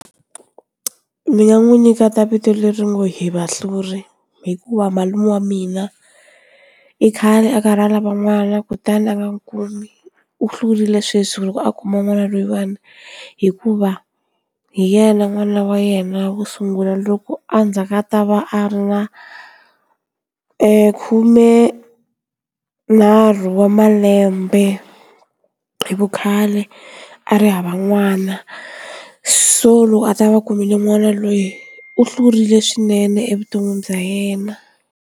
Ndzi nga n'wi nyiketa ta vito leri nga Hivahluri hikuva malume wa mina i khale a karhi a lava n'wana kutani a nga n'wi kumi u hlurile sweswi loko a kuma n'wana loyiwani hikuva hi yena n'wana wa yena vo sungula loko a ndzaku a ta va a ri na khumenharhu wa malembe hi vukhale a ri hava n'wana so loko a ta va kumile n'wana loyi u hlurile swinene evuton'wini bya yena.